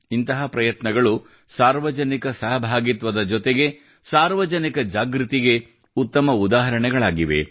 ಇಂತಹ ಪ್ರಯತ್ನಗಳು ಸಾರ್ವಜನಿಕ ಸಹಭಾಗಿತ್ವದ ಜೊತೆಗೆ ಸಾರ್ವಜನಿಕ ಜಾಗೃತಿಗೆ ಉತ್ತಮ ಉದಾಹರಣೆಗಳಾಗಿವೆ